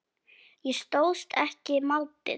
Ég stóðst ekki mátið.